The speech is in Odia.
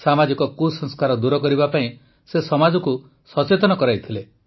ସାମାଜିକ କୁସଂସ୍କାର ଦୂର କରିବା ପାଇଁ ସେ ସମାଜକୁ ସଚେତନ କରାଇଥିଲେ